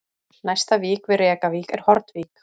Næsta vík við Rekavík er Hornvík